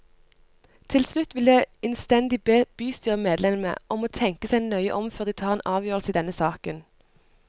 Til slutt vil jeg innstendig be bystyremedlemmene om å tenke seg nøye om før de tar en avgjørelse i denne saken.